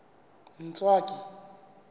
ntswaki